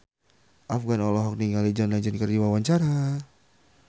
Afgan olohok ningali John Legend keur diwawancara